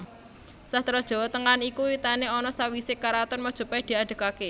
Sastra Jawa Tengahan iku wiwitane ana sawisé karaton Majapait diadegaké